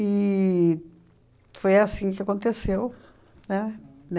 foi assim que aconteceu, né?